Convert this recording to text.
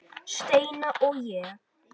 Steina og ég.